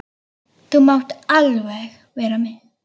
Þú mátt alveg vera með.